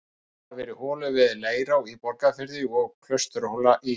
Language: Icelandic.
Boraðar hafa verið holur við Leirá í Borgarfirði og Klausturhóla í